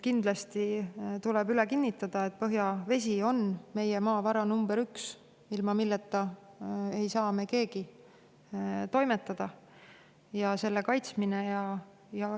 Kindlasti tuleb kinnitada, et põhjavesi on meie maavara number üks, ilma milleta ei saa meist keegi toimetada, ja seda tuleb kaitsta.